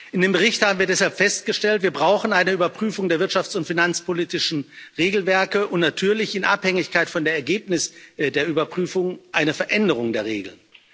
In dem Bericht haben wir deshalb festgestellt Wir brauchen eine Überprüfung der wirtschafts und finanzpolitischen Regelwerke und natürlich, in Abhängigkeit von den Ergebnissen der Überprüfung, eine Veränderung der Regeln.